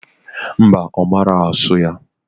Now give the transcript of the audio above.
Mba, Omara asu ya